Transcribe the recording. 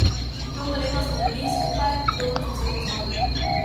Dolga leta smo bili skupaj, dobro smo se poznali.